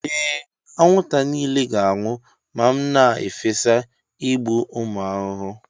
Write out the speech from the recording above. Ee, anwụnta niile ga-anwụ ma m na-efesa igbu ụmụ ahụhụ.